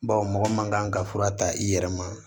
Baw mɔgɔ man kan ka fura ta i yɛrɛ ma